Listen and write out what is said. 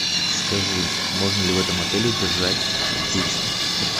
скажи можно ли в этом отеле держать птиц